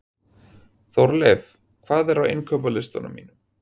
Þórleif, hvað er á innkaupalistanum mínum?